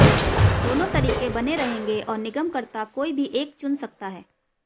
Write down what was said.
दोनों तरीके बने रहेंगे और निर्गमकर्ता कोई भी एक चुन सकता है